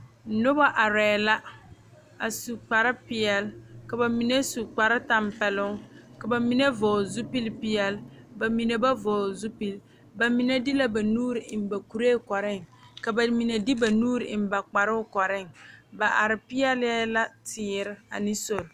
Noba are la a su kpare peɛle ka bamine su kpare tanpɛloŋ ka bamine vɔgle zupele peɛle bamine ba vɔgle zupele bamine deɛ ba nuure eŋ ba kuri koɔre ka bamine de ba nuure eŋ ba kpare koɔre ba are pegle la teere ane sori.